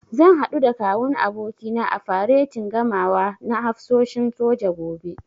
Zan haɗu da Kawun abokina a faretin gamawa na hafsoshin soja, gobe.